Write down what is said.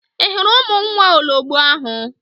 Ị hụrụ ụmụ nwa ologbo ahụ?